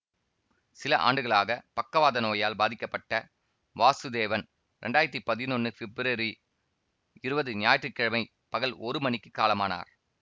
சில ஆண்டுகளாக பக்கவாத நோயால் பாதிக்கப்பட்ட வாசுதேவன் இரண்டாயிரத்தி பதினொன்னு பெப்ரவரி இருவது ஞாயிற்று கிழமை பகல் ஒரு மணிக்கு காலமானார்